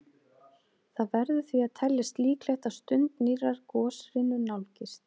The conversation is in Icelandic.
Það verður því að teljast líklegt að stund nýrrar goshrinu nálgist.